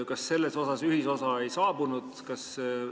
Kas selles osas ühisosa ei saavutatud?